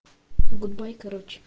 гудбай короче